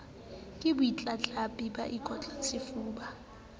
ke batlatlapi ba ikotlang sefuba